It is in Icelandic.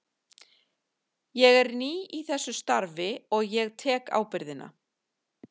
Ég er nýr í þessu starfi og ég tek ábyrgðina.